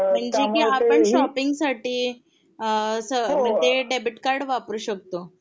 जे कि आपण शॉपिंग साठी अ ते डेबिट कार्ड वापरू शकतो.